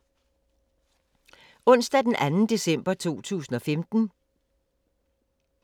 Onsdag d. 2. december 2015